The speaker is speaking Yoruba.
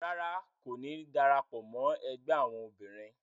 Ràrá, Ko ní darapọ̀ mọ ẹgbẹ awọn obìnrin